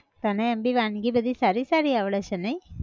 તને એમ બી વાનગી બધી સારી સારી આવડે છે નઈ?